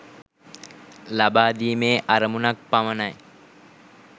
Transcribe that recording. ලබාදීමේ අරමුණක් පමණයි.